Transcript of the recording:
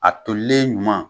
A tolilen ɲuman